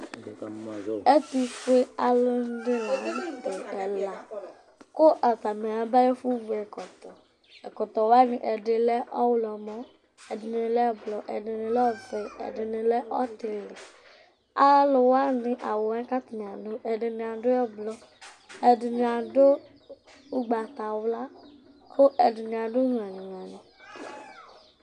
Ɛtʋfuealʋ ɛla dɩnɩ la nʋ tɛ aya bevʋ ɛkʋ Ɛkɔtɔ wanɩɛdɩ lɛ ɔɣlɔmɔ, ɛdɩnɩ lɛ ɛblɔ, ɛdɩnɩ lɛ ɔvɛ, ɛdɩnɩ lɛ ɔtɩlɩ Alʋ wanɩ awʋ yɛ kʋ atanɩ adʋ ɛdɩnɩ lɛ ɛblɔ Ɛdɩnɩ adʋ ugbatawla kʋ ɛdɩnɩ adʋ nyalɩnyalɩ